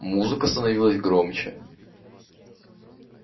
музыка становилась громче